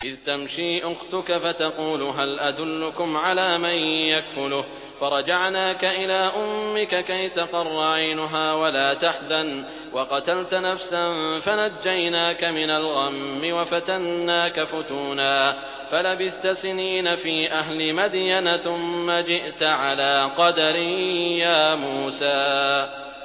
إِذْ تَمْشِي أُخْتُكَ فَتَقُولُ هَلْ أَدُلُّكُمْ عَلَىٰ مَن يَكْفُلُهُ ۖ فَرَجَعْنَاكَ إِلَىٰ أُمِّكَ كَيْ تَقَرَّ عَيْنُهَا وَلَا تَحْزَنَ ۚ وَقَتَلْتَ نَفْسًا فَنَجَّيْنَاكَ مِنَ الْغَمِّ وَفَتَنَّاكَ فُتُونًا ۚ فَلَبِثْتَ سِنِينَ فِي أَهْلِ مَدْيَنَ ثُمَّ جِئْتَ عَلَىٰ قَدَرٍ يَا مُوسَىٰ